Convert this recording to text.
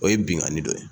O ye binkanni dɔ ye